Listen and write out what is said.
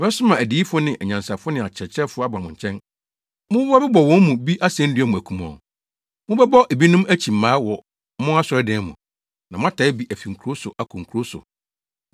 Mɛsoma adiyifo ne anyansafo ne akyerɛkyerɛfo aba mo nkyɛn. Mobɛbɔ wɔn mu bi asennua mu akum wɔn. Mobɛbɔ ebinom akyi mmaa wɔ mo asɔredan mu, na moataa bi afi nkurow so akɔ nkurow so.